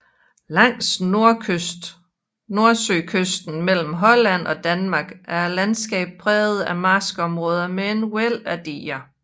Langs nordsøkysten mellem Holland og Danmark er landskabet præget af marskområder med et væld af diger